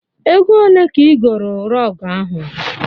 Ego olee ka ị goro rọgụ ahụ?